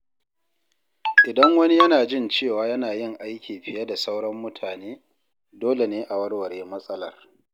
Idan wani yana jin cewa yana yin aiki fiye da sauran mutane, dole ne a warware matsalar.